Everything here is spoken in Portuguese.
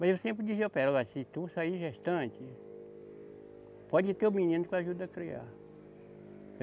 Mas eu sempre dizia para ela, olha, se tu sair gestante, pode ter o menino que eu ajudo a criar.